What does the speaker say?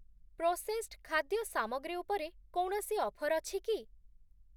Processed ଖାଦ୍ୟ ସାମଗ୍ରୀ ଉପରେ କୌଣସି ଅଫର୍ ଅଛି କି?